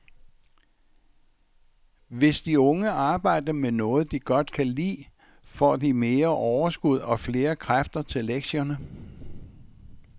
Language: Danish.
Hvis de unge arbejder med noget, de godt kan lide, får de mere overskud og flere kræfter til lektierne.